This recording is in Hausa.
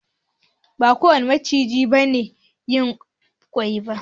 Ba kowane maciji ne yin ƙwai ba.